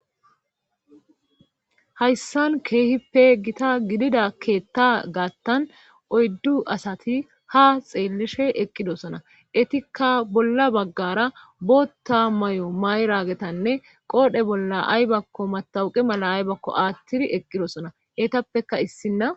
hayssan keehippe gita gidida keetta gaattan oyddu asati ha xeelishe eqqidosona etikka bolla baggara bootta mayo mayragetanne qoodhe bolla aybakko matawuqi mala aybakko aattidi eqqidosona etappeka issinna